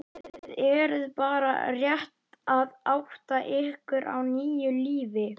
Kolbrún Halldórsdóttir, þingmaður Vinstri-grænna: Og hvað verður við lok samningstímans?